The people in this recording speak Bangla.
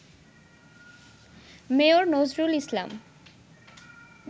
মেয়র নজরুল ইসলাম